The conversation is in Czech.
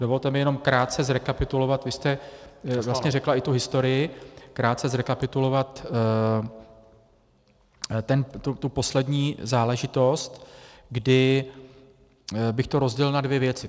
Dovolte mi jen krátce zrekapitulovat, vy jste vlastně řekla i tu historii, krátce zrekapitulovat tu poslední záležitost, kdy bych to rozdělil na dvě věci.